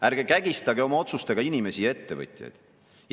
Ärge kägistage oma otsustega inimesi ja ettevõtjaid!